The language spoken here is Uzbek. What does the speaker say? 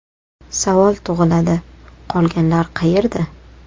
Savol tug‘iladi: qolganlar qayerda?